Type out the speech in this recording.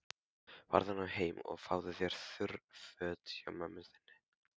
Farðu nú heim og fáðu þurr föt hjá mömmu þinni.